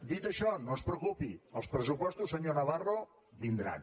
dit això no es preocupi els pressupostos senyor navarro vindran